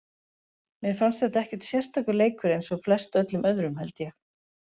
Mér fannst þetta ekkert sérstakur leikur eins og flest öllum öðrum held ég.